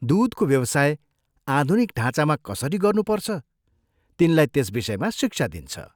दूधको व्यवसाय आधुनिक ढाँचामा कसरी गर्नुपर्छ, तिनलाई त्यस विषयमा शिक्षा दिन्छ।